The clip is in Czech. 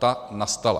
Ta nastala.